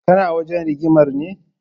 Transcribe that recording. Kana wajen rigimar ne?